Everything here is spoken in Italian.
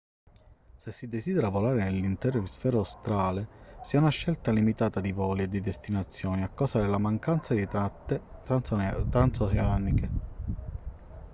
se si desidera volare nell'intero emisfero australe si ha una scelta limitata di voli e di destinazioni a causa della mancanza di tratte transoceaniche